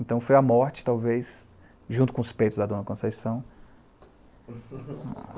Então, foi a morte, talvez, junto com os peitos da dona Conceição.